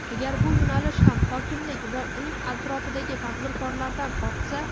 Agar bu yo‘nalish ham hokimlik va uning atrofidagi "tadbirkor"lardan ortsa.